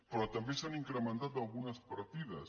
però també s’han incrementat algunes partides